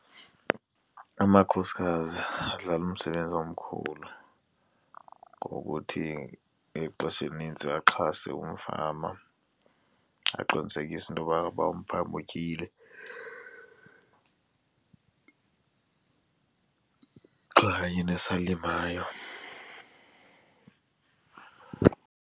Amakhosikazi adlala umsebenzi omkhulu ngokuthi exesheni elinintsi axhase umfama aqinisekise intoba uba umfama utyile xa yena esalimayo.